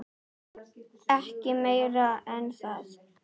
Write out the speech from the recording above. Ekki meira en það.